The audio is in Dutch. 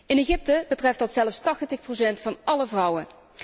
In Egypte betreft dat zelfs 80 procent van alle vrouwen.